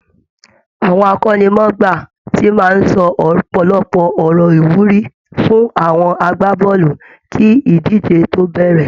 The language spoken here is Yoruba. Àwọn akọ́nimọ̀ọ́gbá ti máa ń sọ ọ̀pọ̀lọpọ̀ ọ̀rọ̀ ìwúrí fún àwọn agbábọ́ọ̀lù kí idiíjé tó bẹ̀rẹ̀